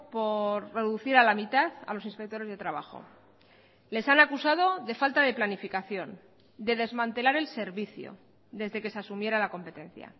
por reducir a la mitad a los inspectores de trabajo les han acusado de falta de planificación de desmantelar el servicio desde que se asumiera la competencia